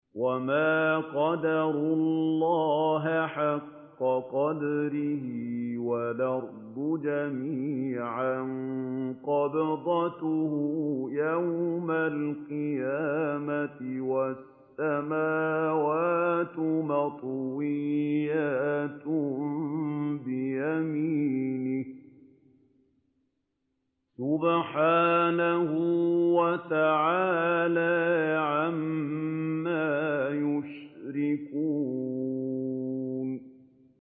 وَمَا قَدَرُوا اللَّهَ حَقَّ قَدْرِهِ وَالْأَرْضُ جَمِيعًا قَبْضَتُهُ يَوْمَ الْقِيَامَةِ وَالسَّمَاوَاتُ مَطْوِيَّاتٌ بِيَمِينِهِ ۚ سُبْحَانَهُ وَتَعَالَىٰ عَمَّا يُشْرِكُونَ